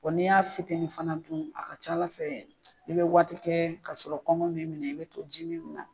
ni y'a fitinin fana dun a ka ca ala fɛ, i be waati kɛ ka sɔrɔ kɔngɔ min minɛ i be to ji mi de la.